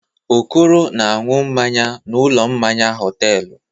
Okoro na-aṅụ mmanya n'ụlọ mmanya hotelụ.